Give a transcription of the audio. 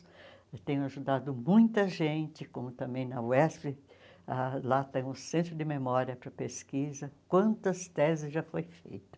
Eu tenho ajudado muita gente, como também na UESP, ãh lá tem um centro de memória para pesquisa, quantas teses já foi feitas.